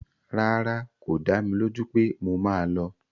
Rárá, kò dá mi lójú pé mo máa lọ